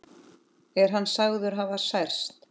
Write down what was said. Er hann sagður hafa særst.